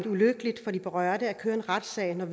ulykkeligt for de berørte at køre en retssag når